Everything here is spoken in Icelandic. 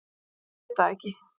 Ég get það ekki.